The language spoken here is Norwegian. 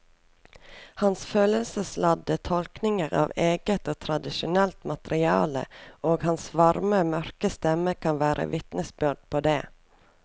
Hans følelsesladde tolkninger av eget og tradisjonelt materiale og hans varme mørke stemme kan være vitnesbyrd på det.